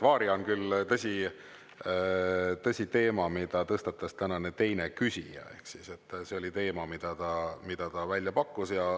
"Varia" on küll, tõsi, teema, mida tõstatas tänane teine küsija, ehk siis, et see oli teema, mida ta välja pakkus.